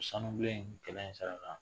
Ko sanubilen ye kɛlɛ in sara